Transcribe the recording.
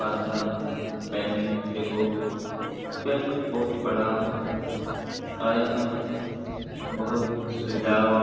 बांधव बैंक हीको बैंक बहुत बड़ा हो और यहाँ बहुत सुविधा हो।